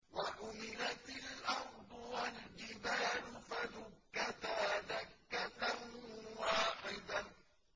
وَحُمِلَتِ الْأَرْضُ وَالْجِبَالُ فَدُكَّتَا دَكَّةً وَاحِدَةً